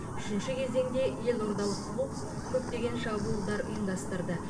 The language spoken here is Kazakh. үшінші кезеңде елордалық клуб көптеген шабуылдар ұйымдастырды